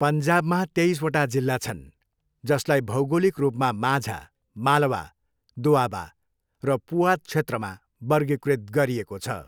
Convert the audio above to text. पन्जाबमा तेइसवटा जिल्ला छन्, जसलाई भौगोलिक रूपमा माझा, मालवा, दोआबा र पुआध क्षेत्रमा वर्गीकृत गरिएको छ।